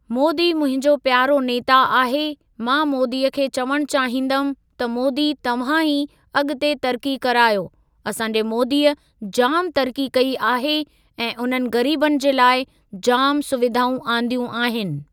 मोदी मुंहिंजो प्यारो नेता आहे, मां मोदीअ खे चवणु चाहींदमि त मोदी तव्हां ई अॻिते तरक़ी करायो, असांजे मोदीअ जाम तरक़ी कई आहे ऐं उननि ग़रीबनि जे लाइ जामु सुविधाऊं आंदियूं आहिनि।